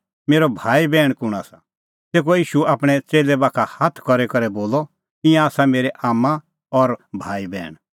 मेरअ भाईबैहण कुंण आसा तेखअ ईशू आपणैं च़ेल्लै बाखा हाथ करी करै बोलअ ईंयां आसा मेरै आम्मां और भाईबैहण